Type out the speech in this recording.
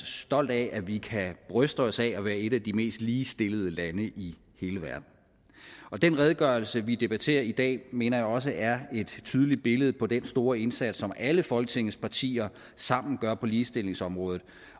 stolt af at vi kan bryste os af at være et af de mest ligestillede lande i hele verden den redegørelse vi debatterer i dag mener jeg også er et tydeligt billede på den store indsats som alle folketingets partier sammen gør på ligestillingsområdet